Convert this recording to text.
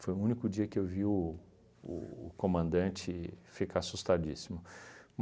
Foi o único dia que eu vi o o comandante ficar assustadíssimo.